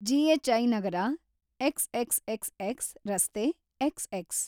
GHI. ನಗರ, XXXX. ರಸ್ತೆ, XX.